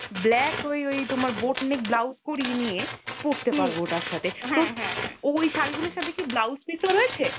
black ওই ওই তোমার botanic blouse করিয়ে নিয়ে পরতে পারবো ওটার সাথে । তো ওই শাড়িগুলোর সাথে কি blouse piece ও রয়েছে?